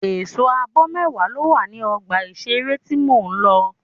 Ẹ̀sọ́ àbò mẹ́wàá ló wà ní ọgbà ìṣeré tí mo lọ.